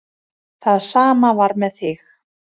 Það sama var með þig.